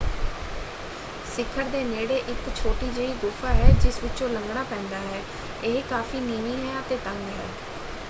ਸ਼ਿਖਰ ਦੇ ਨੇੜੇ ਇੱਕ ਛੋਟੀ ਜਿਹੀ ਗੁਫਾ ਹੈ ਜਿਸ ਵਿਚੋਂ ਲੰਘਣਾ ਪੈਂਦਾ ਹੈ ਇਹ ਕਾਫ਼ੀ ਨੀਵੀਂ ਹੈ ਅਤੇ ਤੰਗ ਹੈ।